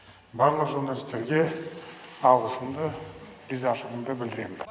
барлық журналистерге алғысымды ризашығымды білдіремін